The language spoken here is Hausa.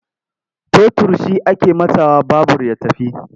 Totur shi ake matsawa babur ya tafi.